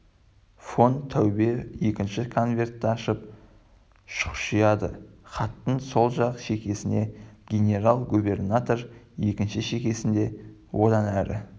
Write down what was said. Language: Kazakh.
фон таубе екінші конвертті ашып шұқшияды хаттың сол жақ шекесіне генерал губернатор екінші шекесінде одан әрі